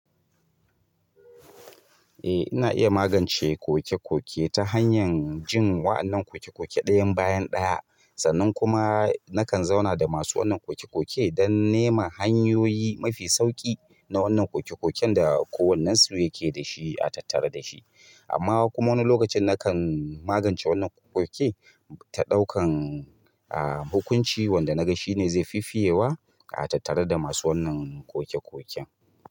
Eh ina iya magance kokekoke ta hanyar jin wa'yannan kokekoke ɗayan bayan ɗaya, sannan kuma nakan zauna da masu wannan kokekoke don neman hanyoyi mafi sauƙi na wannan kokekoken da kowannensu yake dashi a tattare da shi. Amma kuma wani lokacin nakan magance wannan kokekoke ta ɗaukan, aah hukunci wanda na ga shi ne zai fifiyewa a tattare da masu wannan kokekoken.